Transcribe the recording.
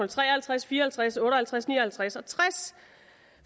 tre og halvtreds fire og halvtreds otte og halvtreds ni og halvtreds og tres